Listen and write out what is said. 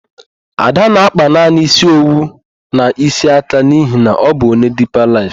Ada na-akpa naanị ísí owu na ísí aka n'ihi na ọ bụ onye Dipa Laịf.